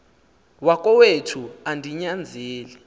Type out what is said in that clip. wakowethu andi nyanzeli